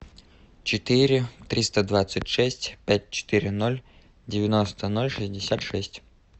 четыре триста двадцать шесть пять четыре ноль девяносто ноль шестьдесят шесть